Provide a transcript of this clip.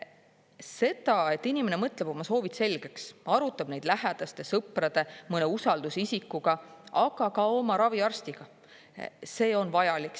See, et inimene mõtleb oma soovid selgeks, arutab neid lähedaste, sõprade, mõne usaldusisikuga, aga ka oma raviarstiga, on vajalik.